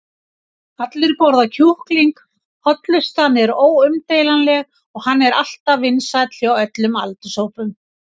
allir borða kjúkling, hollustan er óumdeilanleg og hann er alltaf vinsæll hjá öllum aldurshópum.